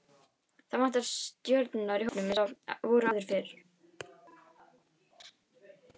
Það vantar stjörnur í hópinn eins og voru áður fyrr.